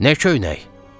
Nə köynək?